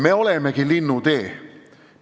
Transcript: Meie olemegi Linnutee.